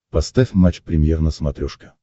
поставь матч премьер на смотрешке